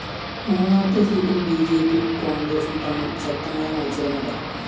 മൂന്നാമത്തെ സീറ്റില്‍ ബിജെപിയും കോണ്‍ഗ്രസും തമ്മില്‍ ശക്തമായ മത്സരം നടക്കും